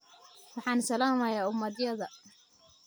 waxaan salaamayaa umadayada!